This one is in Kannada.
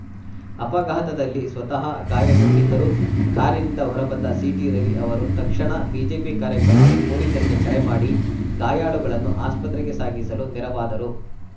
ಅಪಘಾತದಲ್ಲಿ ಸ್ವತಃ ಗಾಯಗೊಂಡಿದ್ದರೂ ಕಾರಿನಿಂದ ಹೊರಬಂದ ಸಿಟಿರವಿ ಅವರು ತಕ್ಷಣ ಬಿಜೆಪಿ ಕಾರ್ಯಕರ್ತರು ಪೊಲೀಸರಿಗೆ ಕರೆ ಮಾಡಿ ಗಾಯಾಳುಗಳನ್ನು ಆಸ್ಪತ್ರೆಗೆ ಸಾಗಿಸಲು ನೆರವಾದರು